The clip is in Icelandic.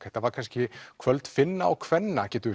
þetta var kannski kvöld finna og kvenna getum